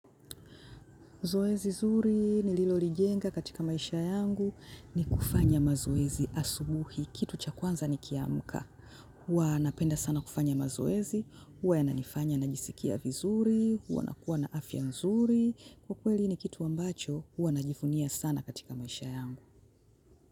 Zoezi zuri nililolijenga katika maisha yangu ni kufanya mazoezi asubuhi kitu cha kwanza nikiamka. Huwa napenda sana kufanya mazoezi, huwa yananifanya najisikia vizuri, huwa nakuwa na afya nzuri, kiukweli ni kitu ambacho huwa najivunia sana katika maisha yangu.